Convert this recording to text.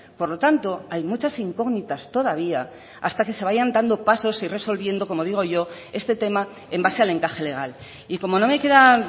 por lo tanto hay muchas incógnitas todavía hasta que se vayan dando pasos y resolviendo como digo yo este tema en base al encaje legal y como no me queda